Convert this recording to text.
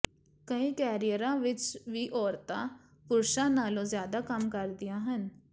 ਕਈ ਕੈਰੀਅਰਾਂ ਵਿਚ ਵੀ ਔਰਤਾਂ ਪੁਰਸ਼ਾਂ ਨਾਲੋਂ ਜ਼ਿਆਦਾ ਕੰਮ ਕਰਦੀਆਂ ਹਨ